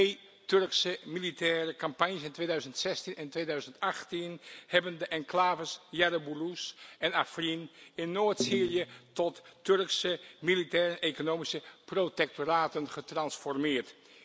Twee Turkse militaire campagnes, in 2016 en 2018, hebben de enclaves Jarabulus en Afrin in Noord Syrië tot Turkse militaire economische protectoraten getransformeerd.